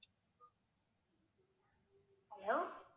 hello